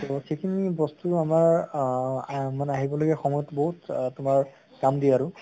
তʼ সেই খিনি বস্তু আমাৰ অহ মানে আহিব লগিয়া সময়্ত বহুত আহ তোমাৰ কাম দিয়ে আৰু